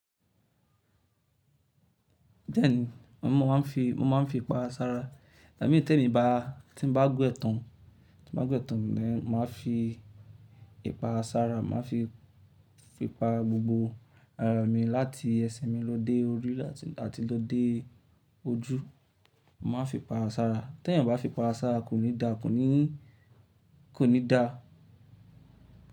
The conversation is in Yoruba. Díẹ̀ ni, mo máa ń fi, mo máa ń fi ipara sárá. Ìgbámi ní tẹ̀mi bá, tí n bá we tán, tí n bá wẹ́ tán ni máa fi ipara ṣárá, màá fi fi pa gbogbo ara mi láti ẹsẹ̀ mi lọ dé orí àti lọ dé ojú. Mo máa ń fi ipara ṣárá. Tẹ́ eeyàn o bá fi ipara ṣárá kò ní dà, kò ní, kò ní dà.